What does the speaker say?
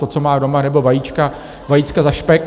To, co mám doma, nebo vajíčka za špek.